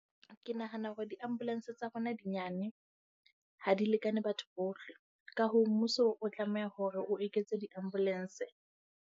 Ke nahana hore di-ambulance tsa rona di nyane, ha di lekane batho bohle. Ka hoo mmuso, o tlameha hore o eketse di-ambulance.